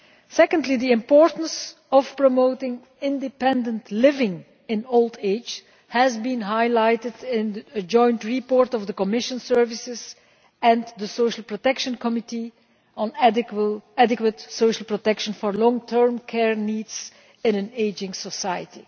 Secondly, the importance of promoting independent living in old age has been highlighted in a joint report of the Commission services and the Social Protection Committee on adequate social protection for long term care needs in an ageing society.